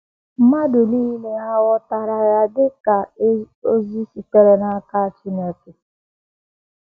Mmadụ niile hà ghọtara ya dị ka ozi sitere n’aka Chineke?